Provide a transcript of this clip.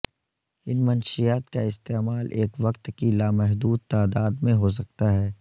ان منشیات کا استعمال ایک وقت کی لامحدود تعداد میں ہو سکتا ہے